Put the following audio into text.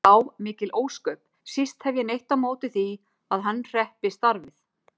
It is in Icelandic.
Já, mikil ósköp, síst hef ég neitt á móti því að hann hreppi starfið.